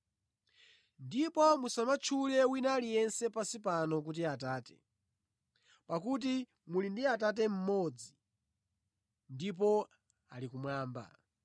Ndipo musamatchule wina aliyense pansi pano kuti ‘Atate,’ pakuti muli ndi Atate mmodzi, ndipo ali kumwamba.